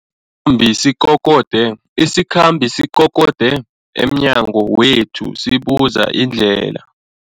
bi sikokode isikhambi sikokode emnyango wethu sibuza indlela.